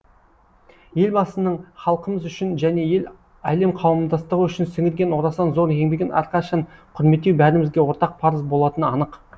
елбасының халқымыз үшін және әлем қауымдастығы үшін сіңірген орасан зор еңбегін әрқашан құрметтеу бәрімізге ортақ парыз болатыны анық